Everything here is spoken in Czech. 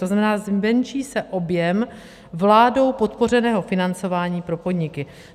To znamená, zmenší se objem vládou podpořeného financování pro podniky.